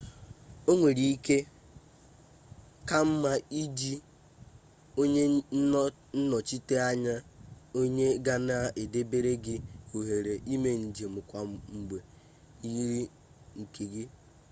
onwere ike ka nma iji onye nnochita-anya onye gana edebere gi ohere ime njem kwa mgbe yiri nke gi